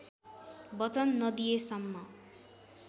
वचन नदिएसम्म